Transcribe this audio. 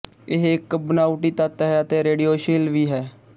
ਇਹ ਇੱਕ ਬਣਾਉਟੀ ਤੱਤ ਹੈ ਅਤੇ ਰੇਡੀਓਸ਼ੀਲ ਵੀ ਹੈ